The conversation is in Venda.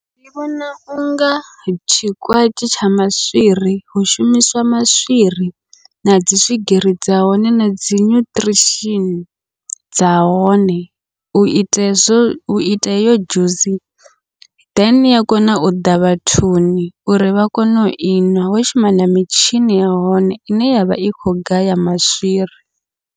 Ndi vhona unga tshikwatshi tsha maswiri, hu shumiswa maswiri nadzi swigiri dza hone na dzi nyuṱirishini dza hone, uita hezwo uita heyo dzhusi. Then ya kona uḓa vhathuni uri vha kone ui nwa, ho shuma na mitshini ya hone ine yavha i kho gaya maswiri.